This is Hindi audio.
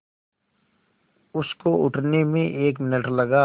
उसको उठने में एक मिनट लगा